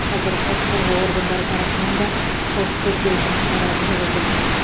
қазір құқық қорғау органдары тарапынан да сот тергеу жұмыстары жүріп жатыр